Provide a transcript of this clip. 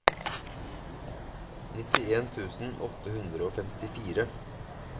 nittien tusen åtte hundre og femtifire